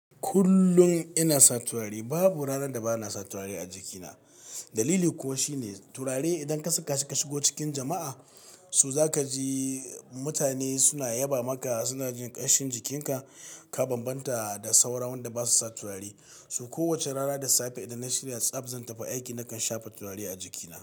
Kullum ina sa turare, babu ranar da bana sa turare a jikina. Dalili kuwa shine, turare idan ka saka shi ka shigo cikin jama'a, so za ka ji mutane suna yaba maka, suna jin ƙanshin jikinka, ka banbanta da sauran wanda ba su sa turare. So kowacce rana da safe idan na shirya tsab, zan tafi aiki nakan shafa turare a jikina.